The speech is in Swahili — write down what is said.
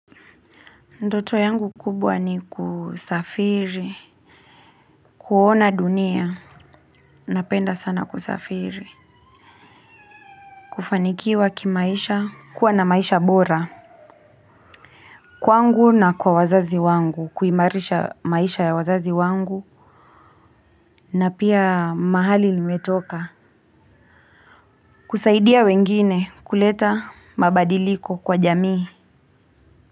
Ndoto yangu kubwa ni kusafiri, kuona dunia, napenda sana kusafiri, kufanikiwa kimaisha, kuwa na maisha bora, kwangu na kwa wazazi wangu, kuimarisha maisha ya wazazi wangu, na pia mahali limetoka, kusaidia wengine kuleta mabadiliko kwa jamii.